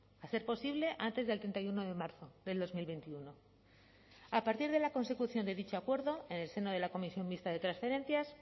a ser posible antes del treinta y uno de marzo del dos mil veintiuno a partir de la consecución de dicho acuerdo en el seno de la comisión mixta de transferencias